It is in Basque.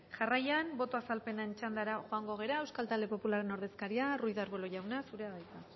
jarraian boto azalpenen txandara joango gara euskal talde popularraren ordezkaria ruiz de arbulo jauna zurea da hitza